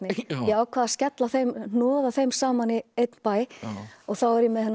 ég ákvað að hnoða þeim saman í einn bæ og þá var ég með þennan